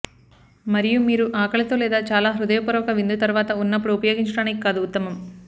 మరియు మీరు ఆకలితో లేదా చాలా హృదయపూర్వక విందు తర్వాత ఉన్నప్పుడు ఉపయోగించడానికి కాదు ఉత్తమం